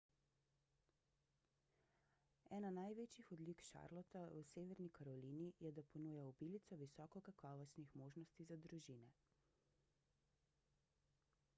ena največjih odlik charlotta v severni karolini je da ponuja obilico visoko kakovostnih možnosti za družine